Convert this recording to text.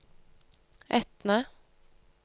Etne